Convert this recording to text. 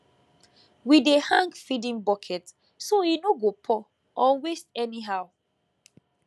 we dey hang feeding bucket so e no go pour or waste anyhow